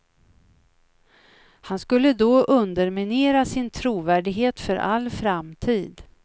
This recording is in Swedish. Han skulle då underminera sin trovärdighet för all framtid.